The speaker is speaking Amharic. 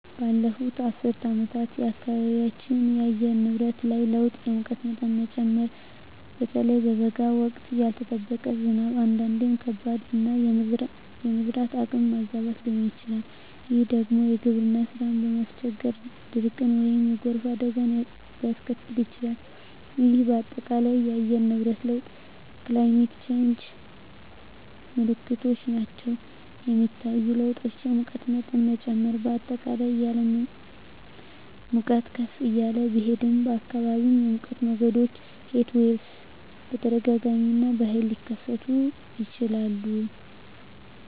ባለፉት አስርት ዓመታት በአካባቢያችን የአየር ንብረት ላይ ለውጥ የሙቀት መጠን መጨመር (በተለይ በበጋ ወቅት)፣ ያልተጠበቀ ዝናብ (አንዳንዴም ከባድ)፣ እና የመዝራት ወቅት መዛባት ሊሆን ይችላል፤ ይህ ደግሞ የግብርና ሥራን በማስቸገር ድርቅን ወይም የጎርፍ አደጋን ሊያስከትል ይችላል፣ ይህም በአጠቃላይ የአየር ንብረት ለውጥ (Climate Change) ምልክቶች ናቸው. የሚታዩ ለውጦች: የሙቀት መጠን መጨመር: በአጠቃላይ የዓለም ሙቀት ከፍ እያለ ቢሄድም፣ በአካባቢዎም የሙቀት ሞገዶች (Heatwaves) በተደጋጋሚ እና በኃይል ሊከሰቱ ይችላሉ.